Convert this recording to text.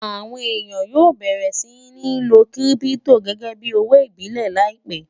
àwọn èyán yóò bẹrẹ sí ní ló kírìpitò gégé bí òwò ìbílè láìpé